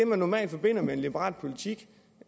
man normalt forbinder med en liberal politik